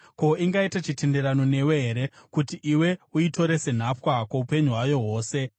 Ko, ingaita chitenderano newe here kuti iwe uitore senhapwa kwoupenyu hwayo hwose?